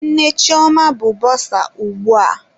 Nne Chioma bụ bọsa ugbu a.